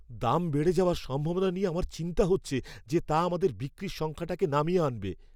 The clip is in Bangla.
দাম বেড়ে যাওয়ার সম্ভাবনা নিয়ে আমার চিন্তা হচ্ছে যে তা আমাদের বিক্রির সংখ্যাটাকে নামিয়ে আনবে।